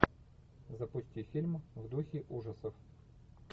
запусти фильм в духе ужасов